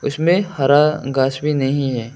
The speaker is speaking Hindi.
इसमें हरा घास भी नहीं है।